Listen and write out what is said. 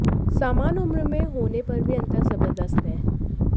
सामान उम्र में होने पर भी अंतर जबरदस्त है